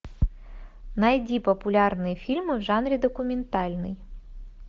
найди популярные фильмы в жанре документальный